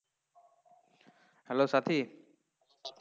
Hello Sathi